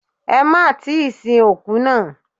Ẹ má tíì sin òkú náà.